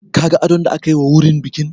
Ka ga adon da aka yi wa wurin bikin?